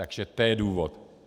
Takže to je důvod.